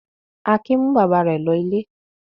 Akin mú bàbá rẹ̀ lọ ilé.